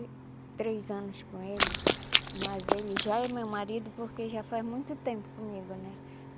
três anos com ele, mas ele já é meu marido porque já faz muito tempo comigo, né?